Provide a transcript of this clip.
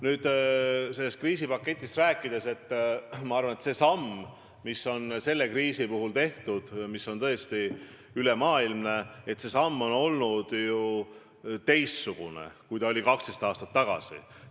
Nüüd, mis puutub kriisipaketti, siis ma arvan, et see samm, mis on selle tõesti ülemaailmse kriisi puhul tehtud, on ju olnud teistsugune kui 12 aastat tagasi astutud samm.